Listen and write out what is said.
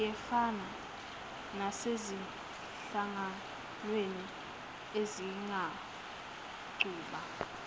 siyefana nasezinhlanganweni ezingaqhuba